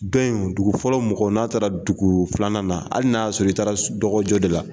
Don in dugu fɔlɔ mɔgɔ, n'a taara dugu filanan na hali n'a sɔrɔ i taara dɔgɔjɔ de la